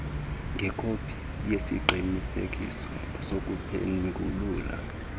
ngekopi yesiqinisekiso sokuphengulula